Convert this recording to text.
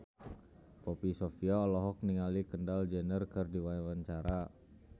Poppy Sovia olohok ningali Kendall Jenner keur diwawancara